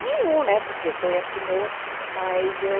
Nenhum né, porque foi a primeira, mas eu...